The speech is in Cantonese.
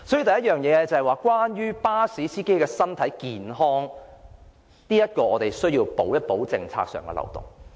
所以，第一，對於巴士司機的身體健康，我們必須修補政策上的漏洞。